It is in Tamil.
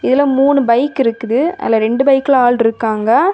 இதுல மூணு பைக் இருக்குது அதுல ரெண்டு பைக்ல ஆள்ருக்காங்க.